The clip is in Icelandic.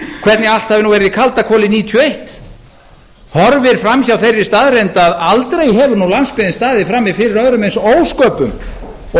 hvernig allt hafi nú verið í kaldakoli nítján hundruð níutíu og eitt horfir fram hjá þeirri staðreynd að aldrei hefur nú landsbyggðin staðið frammi fyrir öðrum eins ósköpum og